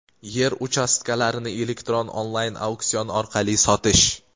yer uchastkalarini elektron onlayn-auksion orqali sotish.